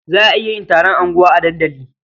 Za a iya yin taron unguwa a dandali.